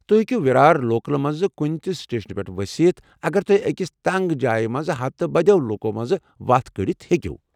تۄہہِ ہیٚکِو وِرار لوکل منٛزٕ کُنہِ تہِ سٹیشنس پٮ۪ٹھ ؤستھ اگر تۄہہِ اكِس تنٛگ جایہِ منٛز ہتہٕ بدٮ۪و لوُکو مٔنٛزِ وتھ کڑتھ ہیكِو ۔